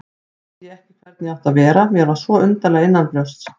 Vissi ekki hvernig ég átti að vera, mér var svo undarlega innanbrjósts.